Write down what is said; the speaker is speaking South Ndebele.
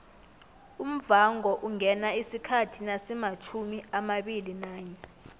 umvhangoungena isikhathi nasimatjhumiamabili nanye